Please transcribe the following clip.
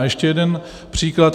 A ještě jeden příklad.